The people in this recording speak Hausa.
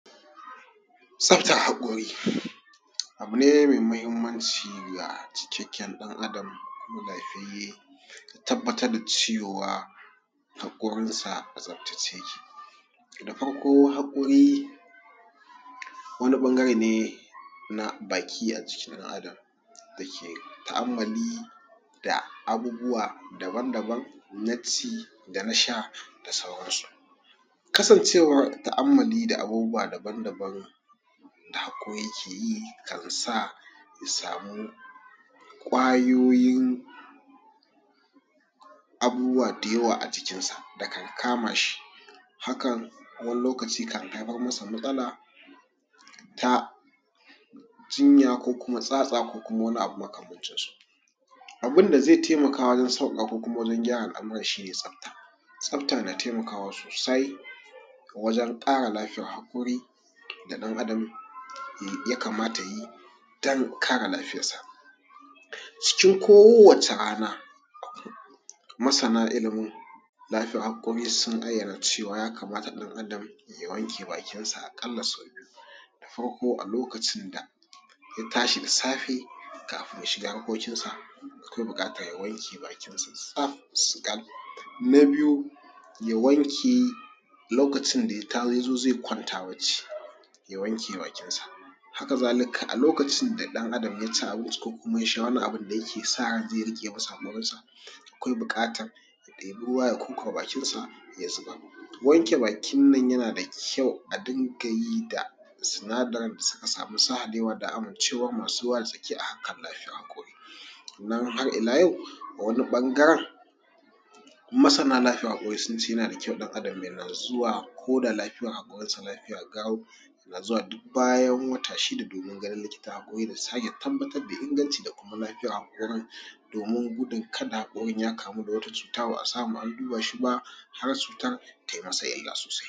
Tsaftar haƙori abu ne mai muhimmanci ga cikakken ɗan ‘adam lafiyayye, tabbatar da cewa haƙorin sa a tsabtace yake. Da farko haƙori wani ɓangare ne na baki a cikin ɗan adam da ke tu’ammali da abubuwa daban-daban na ci da na sha da sauran su. Kasancewar tu’ammali da abubuwa daban-daban da haƙori ke yi kan sa ya samu ƙwayoyin abubuwa da yawa a jikin sa da kan kama shi, hakan wani lokaci kan haifar masa matsala ta jinya ko kuma tsatsa ko kuma wani abu makamancin su. Abin da zai taimaka wajen sauƙaƙa ko kuma wajen gyara al’amuran shine tsafta, tsafta na taimakawa sosai wajen ƙara lafiyar haƙori da ɗan adam ya kamata ya yi don kare lafiyar sa. Cikin kowace rana masana ilimin lafiyar haƙori sun ayyana cewa ya kamata ɗan’adam ya wanke bakin sa a ƙalla biyu, farko a lokacin da ya tashi da safe kafin ya shiga harkokin sa akwai buƙatar ya wanke bakin sa tsab, su yi ƙal. Na biyu, ya wanke lokacin da ya zo zai kwanta bacci ya wanke bakin sa, haka zalika a lokacin da ɗan adam ya ci abinci ko kuma ya sha wani abun da yake sa zai riƙe masa haƙorin sa akwai buƙatar ya ɗebi ya kurkure bakin sa ya zubar. Wanke bakin nan yana da kyau a dunga yi da sinadarin da suka samu sahalewa da amincewar masu wartsake a harkar lafiya kullu. Sannan har ila yau a wani ɓangaren masana lafiyar haƙori sun ce yana da kyau ɗan adam ya na zuwa ko da haƙorin sa lafiya garau, yana zuwa duk bayan wata shida domin ganin likitar haƙori da sake tabbatar da inganci da kuma lafiyar haƙorin domin gudun kada haƙorin ya kamu da wata cuta ba a samu an duba shi ba har cutar ta yi masa yawa.